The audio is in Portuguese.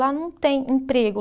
Lá não tem emprego.